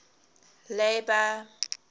labour